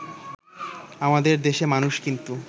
আমাদের দেশে মানুষ কিন্তু